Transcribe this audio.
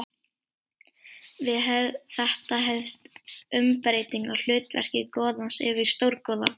Við þetta hefst umbreyting á hlutverki goðans yfir í stórgoða.